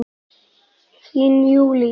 Þín Júlí.